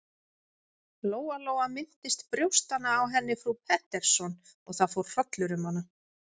Lóa-Lóa minntist brjóstanna á henni frú Pettersson og það fór hrollur um hana.